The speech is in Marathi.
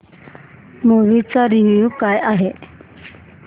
मूवी चा रिव्हयू काय आहे